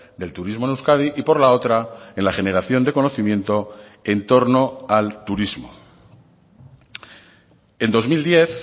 del turismo en euskadi y por la otra en la generación de conocimiento en torno al turismo en dos mil diez